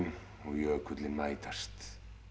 og jökullinn mætast